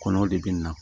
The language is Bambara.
Kɔnɔw de bɛ na